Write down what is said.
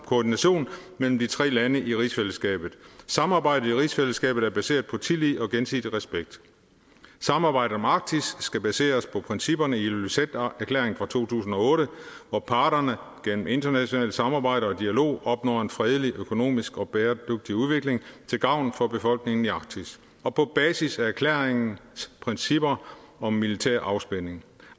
koordination mellem de tre lande i rigsfællesskabet samarbejdet i rigsfællesskabet er baseret på tillid og gensidig respekt samarbejdet om arktis skal baseres på principperne i ilulissaterklæringen fra to tusind og otte hvor parterne gennem internationalt samarbejde og dialog opnår en fredelig økonomisk og bæredygtig udvikling til gavn for befolkningen i arktis og på basis af erklæringens princip om om militær lavspænding